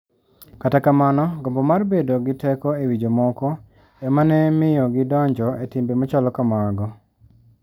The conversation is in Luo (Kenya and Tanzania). Kata kamano, gombo mar bedo gi teko e wi jomoko ema ne miyo gidonjo e timbe machalo kamago..